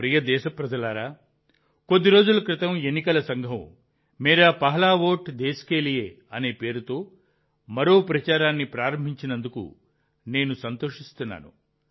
నా ప్రియమైన దేశప్రజలారా కొద్ది రోజుల క్రితం ఎన్నికల సంఘం మేరా పెహ్లా ఓట్ దేశ్ కే లియే అనే పేరుతో మరో ప్రచారాన్ని ప్రారంభించినందుకు నేను సంతోషిస్తున్నాను